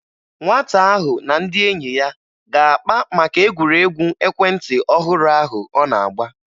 Nwata ahụ na ndị enyi ya ga-akpa maka egwuregwu ekwentị ọhụrụ ahụ ọ na-agba